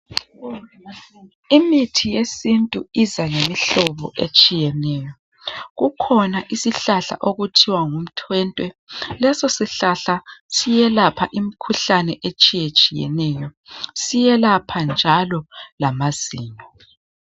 Imithi yesintu izalemihlobo etshiyeneyo. Kukhona isihlahla okuthiwa ngumtwentwe. Lesosihlahla siyelapha imikhuhlane etshiyetshiyeneyo. Siyelapha njalo lamazinyo.